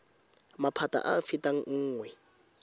maphata a a fetang nngwe